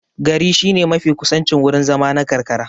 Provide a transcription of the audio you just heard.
Gari shine mafi kusancin wurin zama na karkara.